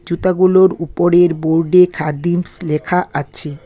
জুতাগুলোর উপরের বোর্ড -এ খাদিমস লেখা আছে।